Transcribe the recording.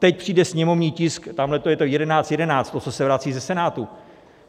Teď přijde sněmovní tisk, tamhle to je - 1111, to, co se vrací ze Senátu.